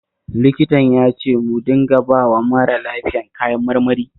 Likitan ya ce mu dinga bawa mara lafiyan kayan marmari